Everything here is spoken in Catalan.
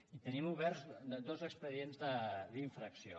i tenim oberts dos expedients d’infracció